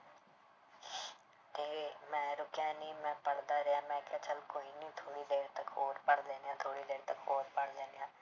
ਤੇ ਮੈਂ ਰੁੱਕਿਆ ਨੀ ਮੈਂ ਪੜ੍ਹਦਾ ਰਿਹਾ ਮੈਂ ਕਿਹਾ ਚੱਲ ਕੋਈ ਨੀ ਥੋੜ੍ਹੀ ਦੇਰ ਤੱਕ ਹੋਰ ਪੜ੍ਹ ਲੈਂਦੇ ਹਾਂ, ਥੋੜ੍ਹੀ ਦੇਰ ਤੱਕ ਹੋਰ ਪੜ੍ਹ ਲੈਂਦੇ ਹਾਂ।